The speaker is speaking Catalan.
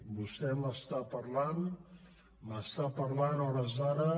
vostè m’està parlant m’està parlant a hores d’ara